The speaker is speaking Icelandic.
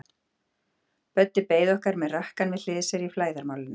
Böddi beið okkar með rakkann við hlið sér í flæðarmálinu.